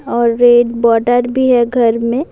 اور red border بھی ہے گھر مے--